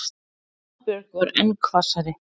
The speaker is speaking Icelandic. Aðalbjörg varð enn hvassari.